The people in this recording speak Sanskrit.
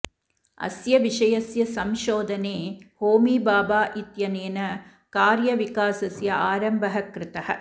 अस्य विषयस्य संशोधने होमी भाभा इत्यनेन कार्यविकासस्य आरम्भः कृतः